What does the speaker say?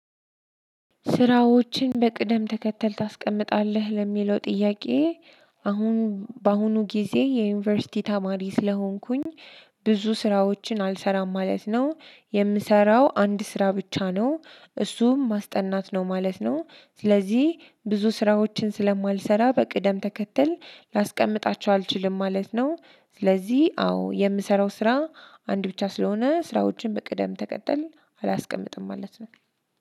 ስራዎችህን በቅደም ተከተል ታስቀምጣለህ ለሚለው ጥያቄ? አሁን በአሁኑ ጊዜ የዩኒቨርሲቲ ተማሪ ስለሆንኩኝ ብዙ ስራዎችን አልሰራም ማለት ነው የምሰራው አንድ ስራ ብቻ ነው። እሱም ማስጠናት ነው ማለት ነው። ስለዚህ ብዙ ስራዎችን ስለማልሰራ በቅደም ተከተል ላስቀምጣቸው አልችልም ማለት ነው። ስለዚህ አዎ የምሰራው ስራ አንድ ብቻ ስለሆነ ስራዎችን በቅደም ተቀጠል አላስቀምጥም ማለት ነው።